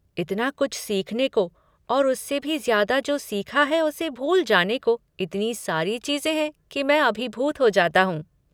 इतना कुछ सीखने को और उससे भी ज़्यादा जो सीखा है उसे भूल जाने को, इतनी सारी चीज़ें हैं कि मैं अभिभूत हो जाता हूँ।